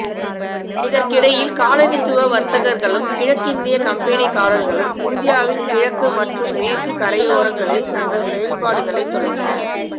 இதற்கிடையில் காலனித்துவ வர்த்தகர்களும் கிழக்கிந்திய கம்பெனிக்காரர்களும் இந்தியாவின் கிழக்கு மற்றும் மேற்கு கரையோரங்களில் தங்கள் செயல்பாடுகளை தொடங்கினர்